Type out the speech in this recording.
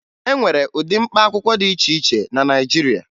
E nwere ụdị mkpaakwụkwọ dị iche iche na Naịjirịa